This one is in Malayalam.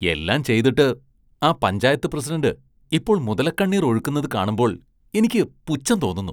എല്ലാം ചെയ്തിട്ട് ആ പഞ്ചായത്ത് പ്രസിഡന്റ് ഇപ്പോള്‍ മുതലക്കണ്ണീര്‍ ഒഴുക്കുന്നത് കാണുമ്പോള്‍ എനിക്ക് പുച്ഛം തോന്നുന്നു.